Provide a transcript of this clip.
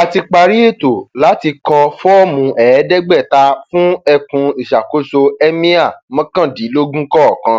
a ti parí ètò láti kọ fọọmù ẹẹdẹgbẹta fún ẹkùn ìṣàkóso ẹmíà mọkàndínlógún kọọkan